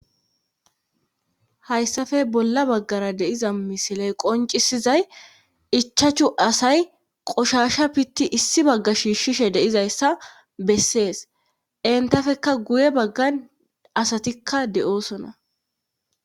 Hayssafe bolla baggara deiza misiley qoncisizay ichachu asay qoshasha pitti issi bagga shiishshishe deizayssa bessees entafekka guye baggan asatikka de7oosona.